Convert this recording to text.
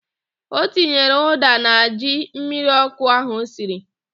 O tinyere ụ́dà na ji mmiriọ́kụ́ ahụ o siri.